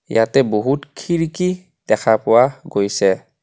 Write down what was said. ইয়াতে বহুত খিৰকি দেখা পোৱা গৈছে.